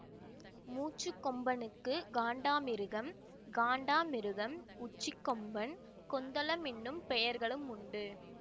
மூச்சுக்கொம்பனுக்கு காண்டாமிருகம் காண்டாமிருகம் உச்சிக்கொம்பன் கொந்தளம் என்னும் பெயர்களும் உண்டு